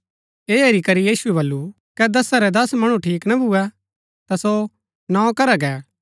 ऐह हेरी करी यीशुऐ बल्लू कै दसा रै दस मणु ठीक ना भुऐ ता सो नौ करा गै